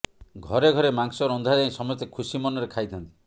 ଘରେ ଘରେ ମାଂସ ରନ୍ଧାଯାଇ ସମସ୍ତେ ଖୁସି ମନରେ ଖାଇଥାନ୍ତି